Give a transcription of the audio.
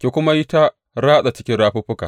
ki kuma yi ta ratsa cikin rafuffuka.